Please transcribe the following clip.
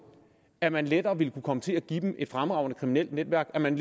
at man lettere ville kunne komme til at give dem et fremragende kriminelt netværk at man